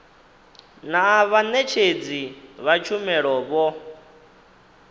naa vhaṋetshedzi vha tshumelo vho